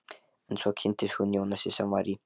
En svo kynntist hún Jónasi sem var í